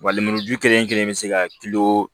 Wa lemuruju kelen kelen be se ka kilo